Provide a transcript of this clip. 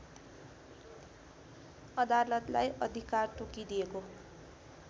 अदालतलाई अधिकार तोकिदिएको